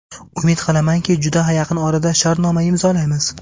Umid qilamanki, juda yaqin orada shartnoma imzolaymiz.